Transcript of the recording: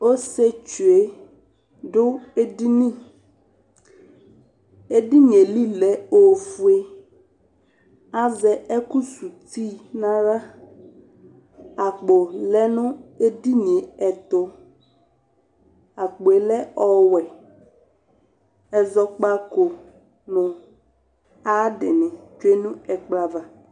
Ɔsɩetsu yɛ dʋ edini Edini yɛ li lɛ ofue Azɛ ɛkʋsuti nʋ aɣla Akpo lɛ nʋ edini yɛ ɛtʋ Akpo yɛ lɛ ɔwɛ Ɛzɔkpako nʋ ayʋ adɩnɩ tsue nʋ ɛkplɔ ava